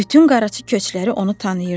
Bütün qaraçı köçləri onu tanıyırdılar.